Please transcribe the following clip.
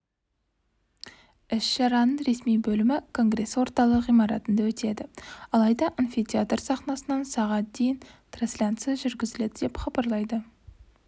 іс-шараның ресми бөлімі конгресс орталығы ғимаратында өтеді алайда амфитеатр сахнасынан сағат дейін трансляция жүргізіледі деп хабарлайды